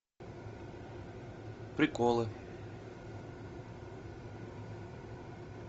приколы